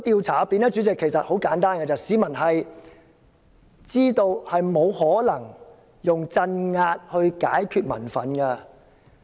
主席，其實很簡單，市民知道沒有可能用鎮壓解決民憤。